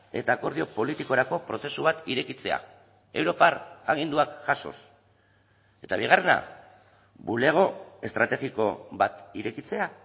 eta akordio politikorako prozesu bat irekitzea europar aginduak jasoz eta bigarrena bulego estrategiko bat irekitzea